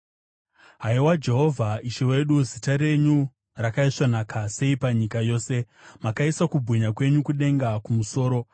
Haiwa Jehovha, Ishe wedu, zita renyu rakaisvonaka sei panyika yose! Makaisa kubwinya kwenyu kudenga kumusoro.